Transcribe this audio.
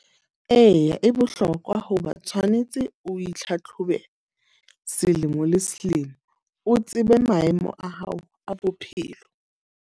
Eya, e bohlokwa hoba tshwanetse o itlhatlhobe selemo le selemo. O tsebe maemo a hao a bophelo.